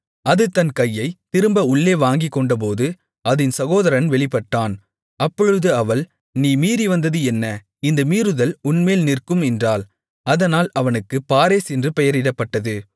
அது தன் கையைத் திரும்ப உள்ளே வாங்கிக்கொண்டபோது அதின் சகோதரன் வெளிப்பட்டான் அப்பொழுது அவள் நீ மீறிவந்தது என்ன இந்த மீறுதல் உன்மேல் நிற்கும் என்றாள் அதனால் அவனுக்குப் பாரேஸ் என்று பெயரிடப்பட்டது